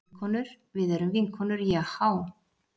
Vinkonur, við erum vinkonur Jahá.